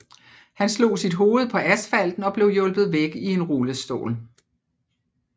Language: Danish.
Han slog sit hoved på asfalten og blev hjulpet væk i en rullestol